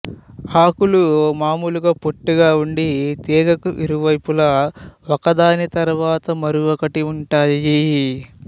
ఆకులు మామూలుగా పొట్టిగా ఉండి తీగకు ఇరువైపులా ఒకదాని తరువాత మరొకటి ఉంటాయి